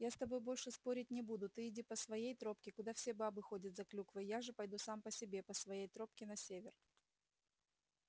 я с тобой больше спорить не буду ты иди по своей тропе куда все бабы ходят за клюквой я же пойду сам по себе по своей тропке на север